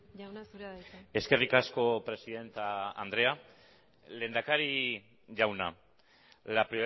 jauna zurea da hitza eskerrik asko presidente andrea lehendakari jauna la